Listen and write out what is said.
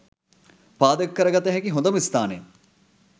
පාදක කරගත හැකි හොඳම ස්ථානය